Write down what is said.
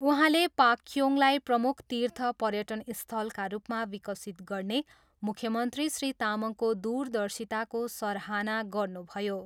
उहाँले पाक्योङलाई प्रमुख तीर्थ पर्यटन स्थलका रूपमा विकसित गर्ने मुख्यमन्त्री श्री तामाङको दूरदर्शिताको सराहना गर्नुभयो।